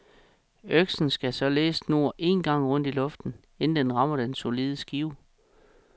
Øksen skal således snurre en gang rundt i luften, inden den rammer den solide skive.